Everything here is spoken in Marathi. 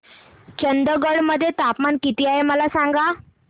चंदगड मध्ये तापमान किती आहे मला सांगा